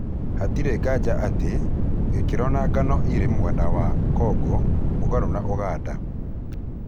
Hatirĩ nganja atĩ, gĩkĩro na ng'ano irĩ mwena wa Kongo mũgarũ na Ũganda .